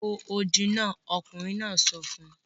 Fò odi náà! ọkùnrin náà sọ fún